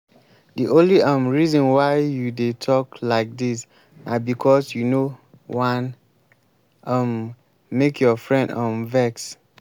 the only um reason why you dey talk like dis na because you no wan um make your friend um vex